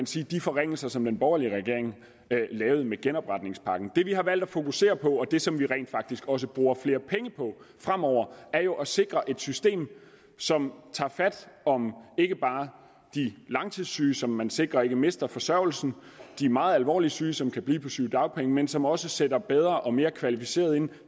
slette de forringelser som den borgerlige regering lavede med genopretningspakken det vi har valgt at fokusere på og det som vi rent faktisk også bruger flere penge på fremover er jo at sikre et system som tager fat om ikke bare de langtidssyge som man sikrer ikke mister forsørgelsen og de meget alvorligt syge som kan blive på sygedagpenge men som også sætter bedre og mere kvalificeret ind